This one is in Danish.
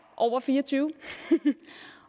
over fire og tyve